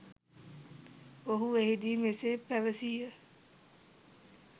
ඔහු එහදී මෙසේ පැවසිය.